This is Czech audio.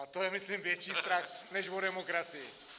A to je myslím větší strach než o demokracii.